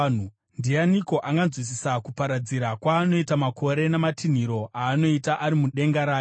Ndianiko anganzwisisa kuparadzira kwaanoita makore, namatinhiriro aanoita ari mudenga rake?